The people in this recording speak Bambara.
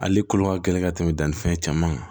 Ale kolo ka gɛlɛn ka tɛmɛ danni fɛn caman kan